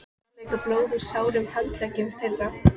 Það lekur blóð úr sárum handleggjum þeirra.